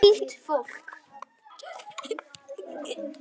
Hlýtt fólk.